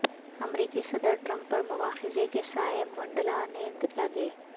امریکی صدر ٹرمپ پر مواخذے کے سائے منڈلانے لگے